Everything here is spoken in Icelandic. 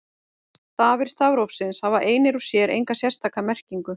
Stafir stafrófsins hafa einir og sér enga sérstaka merkingu.